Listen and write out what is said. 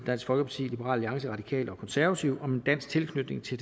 dansk folkeparti liberal alliance radikale og konservative om en dansk tilknytning til